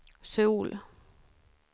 Söul